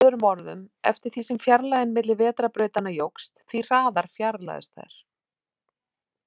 Með öðrum orðum, eftir því sem fjarlægðin milli vetrarbrautanna jókst, því hraðar fjarlægðust þær.